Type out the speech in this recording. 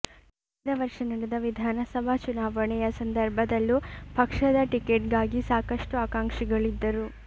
ಕಳೆದ ವರ್ಷ ನಡೆದ ವಿಧಾನಸಭಾ ಚುನಾವಣೆಯ ಸಂದರ್ಭದಲ್ಲೂ ಪಕ್ಷದ ಟಿಕೆಟ್ಗಾಗಿ ಸಾಕಷ್ಟು ಆಕಾಂಕ್ಷಿಗಳಿದ್ದರು